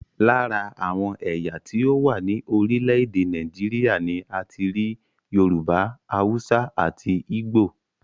Lára àwọn ẹ̀yà tí ó wà ní orílẹ̀èdè Nàìjíríà ni a ti rí Yorùbá, Haúsá àti Ígbò